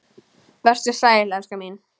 Vertu sæl, elskan mín.